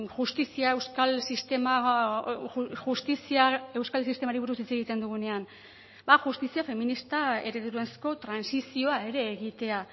justizia euskal sistema justizia euskal sistemari buruz hitz egiten dugunean justizia feminista eredurazko trantsizioa ere egitea